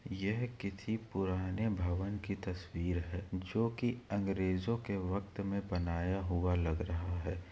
यह किसी पुराने भवन की तस्वीर है जो की अंग्रेजों के वक्त मे बनाया हुआ लग रहा है।